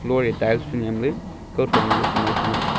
loe tiles fe nyemley kawthron golo ku mai fai ngan tega.